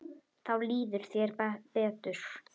Þá líður þér betur.